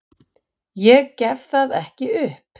Ég gef það ekki upp!